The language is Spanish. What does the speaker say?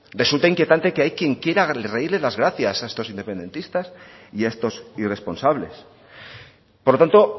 resulta inquietante que hay quien quiera reírle las gracias a estos independentistas y a estos irresponsables por lo tanto